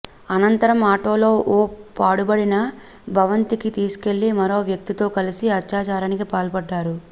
అనంతరం ఆటోలో ఓ పాడుబడిన భవంతికి తీసుకెళ్లి మరో వ్యక్తితో కలిసి అత్యాచారానికి పాల్పడ్డారు